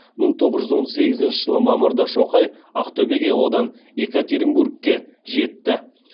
мың тоғыз жүз он сегізінші жылы мамырда шоқай ақтөбеге одан екатеринбургке жетті